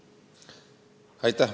Aitäh!